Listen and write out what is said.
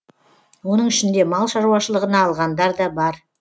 оның ішінде мал шаруашылығына алғандар да бар